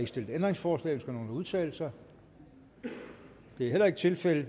stillet ændringsforslag ønsker nogen at udtale sig det er heller ikke tilfældet